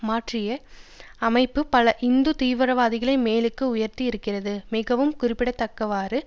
மாற்றி அமைப்பு பல இந்து தீவிரவாதிகளை மேலுக்கு உயர்த்தி இருக்கிறது மிகவும் குறிப்பிடத்தக்கவாறு